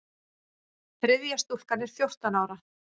Þriðja stúlkan er fjórtán ára.